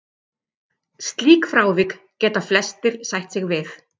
Slík frávik geta flestir sætt sig við.